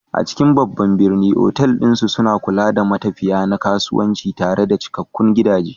A cikin babban birni, otal ɗin suna kula da matafiya na kasuwanci tare da cikakkun gidaje.